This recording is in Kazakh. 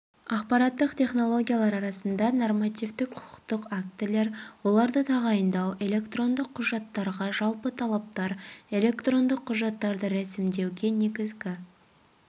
ақпараттық технологиялар аясында нормативтік құқықтық актілер оларды тағайындау электрондық құжаттарға жалпы талаптар электрондық құжаттарды рәсімдеуге негізгі